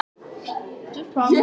Biðjast afsökunar á næturbrölti